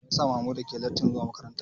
Mai ya sa Mamuda ke letin zuwa makaranta.